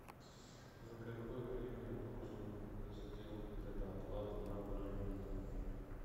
за какое время я должен сделать предоплату на бронирование